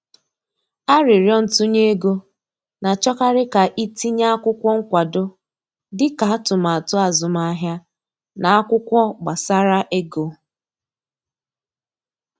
Aririo ntunye ego, na achọkarị ka i tinye akwụkwọ nkwado dị ka atụmatụ azụmahịa na akwụkwọ gbasara ego